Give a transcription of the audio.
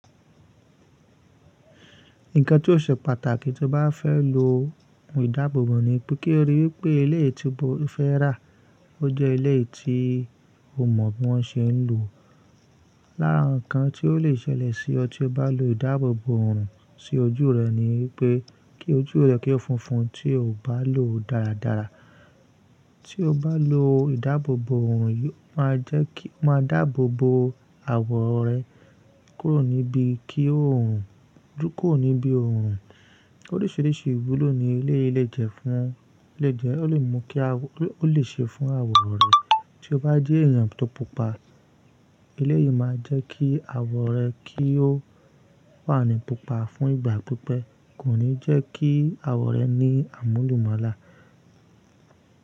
Nǹkan tí ó ṣe pàtàkì tí o bá fẹ́ lo ohun ìdáàbòbò ni pé kí o rí i pé ilé tí o fẹ́ rà, ó jẹ́ ilé tí o mọ̀ bí wọ́n ṣe ń lò ó. Lára nǹkan tí ó lè ṣẹlẹ̀ sí ọ tí o bá lo ìdáàbòbò òòrùn sí ojú rẹ ni pé kí ojú rẹ kí ó fúnfún tí o ò bá lò ó dáradára. Tí o bá lo ìdáàbòbò òòrùn, yóò máa jẹ́ kí ó máa dáàbòbò àwọ̀ rẹ kúrò níbi kí òòrùn dúró kúrò níbi òòrùn. Oríṣìíríṣìí ìwúlò ni ilé yìí lè jẹ́ fún, ó lè mú kí a, ó lè ṣe fún àwọ̀ rẹ. Tí o bá jẹ́ èèyàn tó pupa, ilé yìí máa jẹ́ kí àwọ̀ rẹ kí ó wà ní pupa fún ìgbà pípẹ́, kò ní jẹ́ kí àwọ̀ rẹ ní àmúlùmálà.